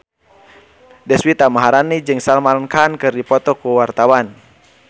Deswita Maharani jeung Salman Khan keur dipoto ku wartawan